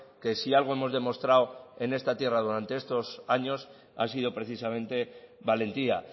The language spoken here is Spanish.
que si algo hemos demostrado en esta tierra durante estos años ha sido precisamente valentía